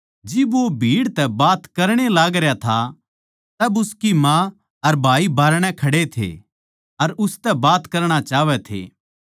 जिब वो भीड़ तै बात करण ए लागरया था तब उसकी माँ अर भाई बाहरणै खड़े थे अर उसतै बात करणा चाहवै थे